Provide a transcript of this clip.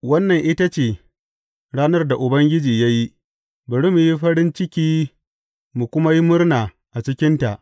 Wannan ita ce ranar da Ubangiji ya yi; bari mu yi farin ciki mu kuma yi murna a cikinta.